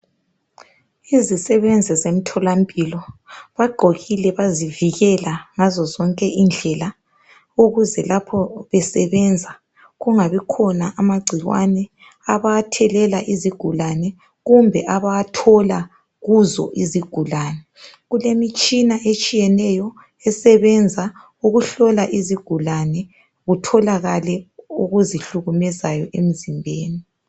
Izisebenzi zemtholampilo bagqokile bazivikele ngazo zonke indlela ukuze lapho besebenza kungabikhona amagcikwane abazawathelela izigulane kumbe abawathola kuzo izigulane. Kulemitshina etshiyeneyo esebenza ukuhlola izigulane kutholakale okuzihlukumezayo emzimbeni.